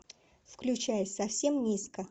включай совсем низко